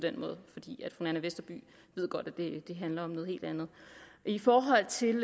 den måde fru nanna westerby ved godt at det handler om noget helt andet i forhold til